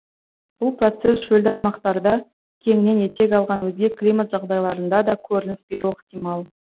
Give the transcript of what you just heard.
бұл процесс шөлді аймақтарда кеңінен етек алған өзге климат жағдайларында да көрініс беруі ықтимал